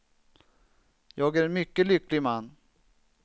Jag är en mycket lycklig man.